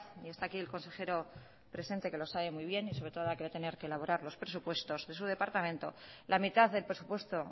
y está aquí el consejero presente que lo sabe muy bien y sobre todo que va a tener que elaborar los presupuestos de su departamento prácticamente la mitad del presupuesto